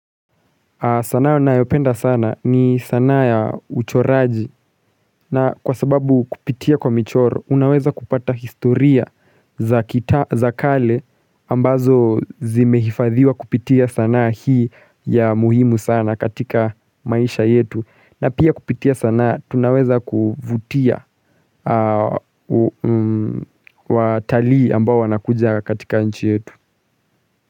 Sanaa nayopenda sana ni sanaa ya uchoraji na kwa sababu kupitia kwa michoro unaweza kupata historia za kita za kale ambazo zimehifadhiwa kupitia sanaa hii ya muhimu sana katika maisha yetu na pia kupitia sanaa tunaweza kuvutia watalii ambao wanakuja katika nchi yetu.